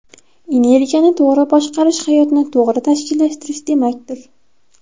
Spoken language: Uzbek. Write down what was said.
Energiyani to‘g‘ri boshqarish hayotni to‘g‘ri tashkillashtirish demakdir.